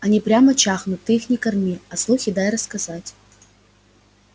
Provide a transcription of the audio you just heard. они прямо чахнут ты их не корми а слухи дай рассказать